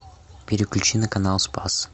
переключи на канал спас